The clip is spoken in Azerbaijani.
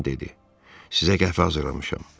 Qadın dedi: Sizə qəhvə hazırlamışam.